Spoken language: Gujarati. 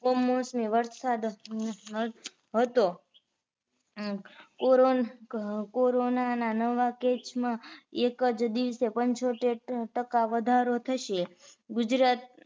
કમોસમી વરસાદ હતો કોરો corona ના નવા case માં એક જ દિવસે પંચોતેર ટકા વધારો થશે. ગુજરાત